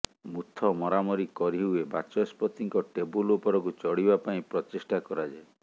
ମୁଥ ମରାମରି କରିହୁଏ ବାଚସ୍ପତିଙ୍କ ଟେବୁଲ ଉପରକୁ ଚଢ଼ିବା ପାଇଁ ପ୍ରଚେଷ୍ଟା କରାଯାଏ